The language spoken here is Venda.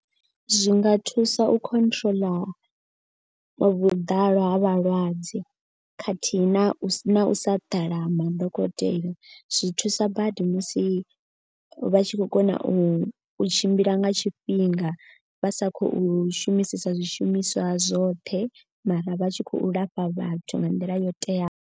Zwi nga thusa u control vhuḓalo ha vhalwadze khathihi na u na u sa ḓala madokotela. Zwi thusa badi musi vha tshi khou kona u tshimbila nga tshifhinga. Vha sa khou shumisesa zwishumiswa zwoṱhe mara vha tshi khou lafha vhathu nga nḓila yo teaho.